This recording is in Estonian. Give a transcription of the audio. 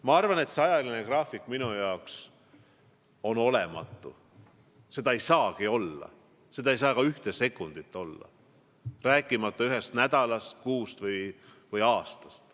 Ma arvan, et see ajagraafik on olematu, seda ei saagi olla, see ei saa ka ühe sekundi pikkune olla, rääkimata ühest nädalast, kuust või aastast.